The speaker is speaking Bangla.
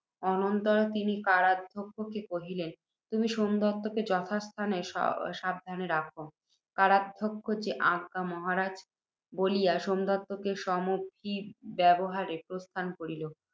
অনন্তর, তিনি কারাধ্যক্ষকে কহিলেন, তুমি সোমদত্তকে যথাস্থানে সাবধানে সাবধানে রাখ। কারাধ্যক্ষ, যে আজ্ঞা মহারাজ! বলিয়া, সোমদত্ত সমভিব্যাহারে প্রস্থান করিল।